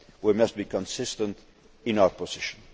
year. We must be consistent in our position.